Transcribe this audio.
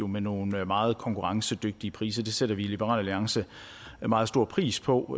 med nogle meget konkurrencedygtige priser det sætter vi i liberal alliance meget stor pris på